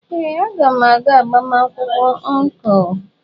Ee, a ga m aga agbamakwụkwọ ọncụl.